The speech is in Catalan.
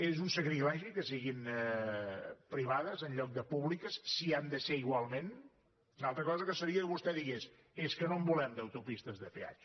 és un sacrilegi que siguin privades en lloc de públiques si hi han de ser igualment una altra cosa seria que vostè digués és que no en volem d’autopistes de peatge